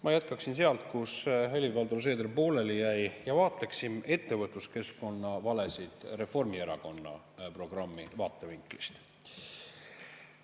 Ma jätkan sealt, kus Helir-Valdor Seeder pooleli jäi, ja vaatlen ettevõtluskeskkonna valesid Reformierakonna programmi vaatevinklist.